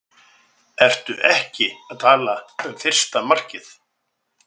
Ertu ekki að tala um fyrsta markið?